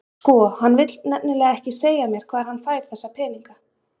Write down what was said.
Sko, hann vill nefnilega ekki segja mér hvar hann fær þessa peninga.